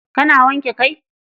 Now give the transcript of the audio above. Kana wanke kai?